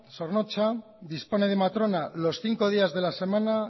zornotza dispone de matrona los cinco días de la semana